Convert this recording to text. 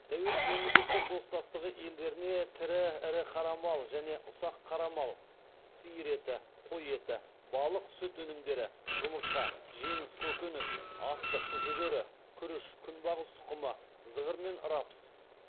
тәуелсіз мемлекеттер достастығы елдеріне тірі ірі қара мал және ұсақ қара мал сиыр еті қой еті балық сүт өнімдері жұмыртқа жеміс көкөніс астық жүгері күріш күнбағыс тұқымы зығыр мен рапс